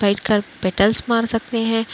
बैठकर पेटलस मार सकते हैं